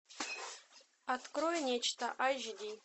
открой нечто айч ди